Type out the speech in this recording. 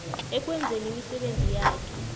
ekwenzeni imisebenzi yakhe